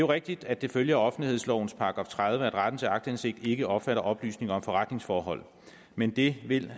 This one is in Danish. rigtigt at det følger offentlighedslovens § tredive at retten til aktindsigt ikke omfatter oplysninger om forretningsforhold men det vil